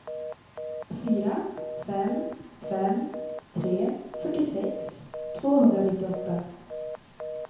fyra fem fem tre fyrtiosex tvåhundranittioåtta